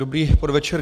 Dobrý podvečer.